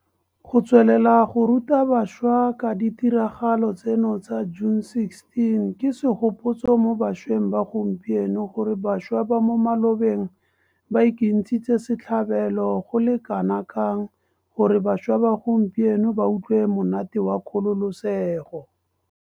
Go tswelela go ruta bašwa ka ditiragalo tseno tsa June 16 ke segopotso mo bašweng ba gompieno gore bašwa ba mo malobeng ba ikentshitse setlhabelo go le kanakang gore bašwa ba gompieno ba utlwe monate wa kgololesego.